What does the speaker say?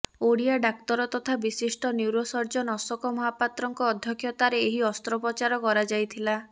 ଓଡିଆ ଡାକ୍ତର ତଥା ବିଶିଷ୍ଟ ନ୍ୟୁରୋ ସର୍ଜନ ଅଶୋକ ମହାପାତ୍ରଙ୍କ ଅଧ୍ୟକ୍ଷତାରେ ଏହି ଅସ୍ତ୍ରୋପଚାର କରାଯାଇଥିଲା